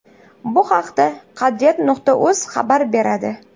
Bu haqda Qadriyat.uz xabar beradi .